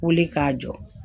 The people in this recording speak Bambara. Wuli k'a jɔ